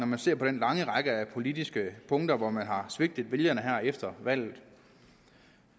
man ser på den lange række af politiske punkter hvor man har svigtet vælgerne her efter valget